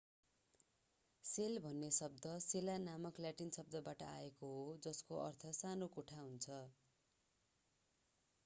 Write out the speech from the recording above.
sale भन्ने शब्द cella नामक ल्याटिन शब्दबाट आएको हो जसको अर्थ सानो कोठा हुन्छ